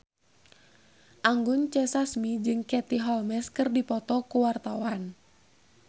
Anggun C. Sasmi jeung Katie Holmes keur dipoto ku wartawan